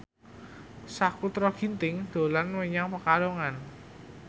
Sakutra Ginting dolan menyang Pekalongan